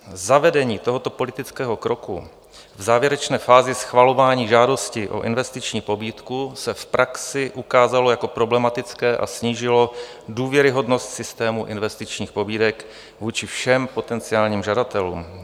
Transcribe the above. Zavedení tohoto politického kroku v závěrečné fázi schvalování žádosti o investiční pobídku se v praxi ukázalo jako problematické a snížilo důvěryhodnost systému investičních pobídek vůči všem potenciálním žadatelům.